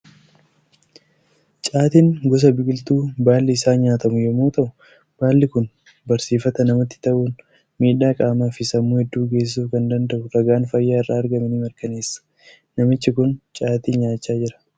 Caatiin gosa biqiltuu baalli isaa nyaatamu yommuu ta'u, baalli kun barsiifata namatti ta'uun miidhaa qaamaa fi sammuu hedduu geessisuu akka danda'u ragaan fayyaa irraa argame ni mirkaneessa. Namichi kun caatii nyaachaa jira.